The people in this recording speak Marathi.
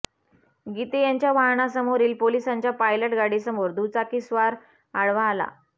गिते यांच्या वाहनासमोरील पोलिसांच्या पायलट गाडीसमोर दुचाकीस्वार आडवा आला